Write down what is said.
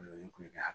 O ye kulonkɛ